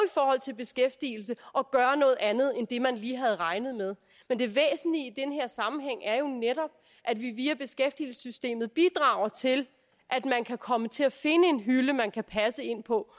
i beskæftigelse at gøre noget andet end det man lige havde regnet med men det væsentlige i den her sammenhæng er jo netop at vi via beskæftigelsessystemet bidrager til at man kan komme til at finde en hylde man kan passe ind på